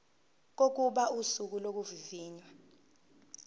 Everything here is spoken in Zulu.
kokuba usuku lokuvivinywa